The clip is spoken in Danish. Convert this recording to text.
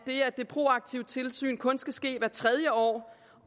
det proaktive tilsyn kun skal ske hvert tredje år